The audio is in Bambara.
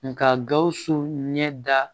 Nka gawusu ɲɛ da